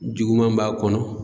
Juguman b'a kɔnɔ